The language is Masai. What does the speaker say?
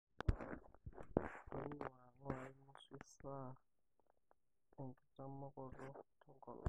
Tonyua ingurai nusu esaa enkitaamokoto tenkolong.